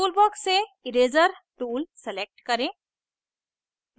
toolbox से eraser tool select करें